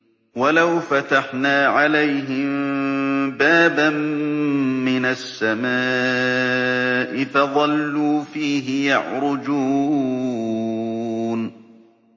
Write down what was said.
وَلَوْ فَتَحْنَا عَلَيْهِم بَابًا مِّنَ السَّمَاءِ فَظَلُّوا فِيهِ يَعْرُجُونَ